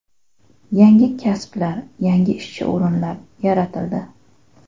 Yangi kasblar, yangi ishchi o‘rinlar yaratildi.